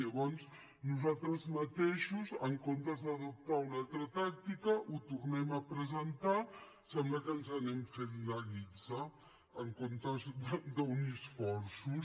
llavors nosaltres mateixos en comptes d’adoptar una altra tàctica ho tornem a presentar sembla que ens anem fent la guitza en comptes d’unir esforços